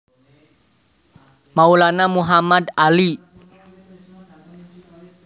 Maulana Muhammad Ali